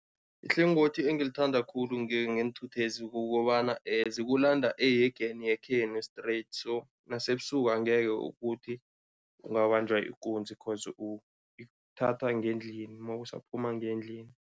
Ihlangothi engilithanda khulu ngeenthuthezi kukobana zikulanda ehegeni yekhenu straight so nasebusuku angeke ukuthi ungabanjwa ikunzi coz uthathwa ngendlini, mawusaphuma ngendlini.